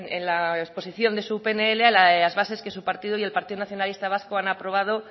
en la exposición de su pnl a las bases que su partido y el partido nacionalista vasco han aprobado